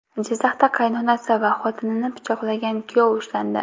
Jizzaxda qaynonasi va xotinini pichoqlagan kuyov ushlandi.